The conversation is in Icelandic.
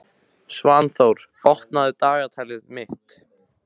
Svanþór, opnaðu dagatalið mitt.